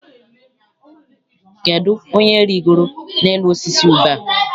Kedụ onye rigoro n'elu osisi ube a?